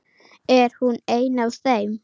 Er hún ein af þeim?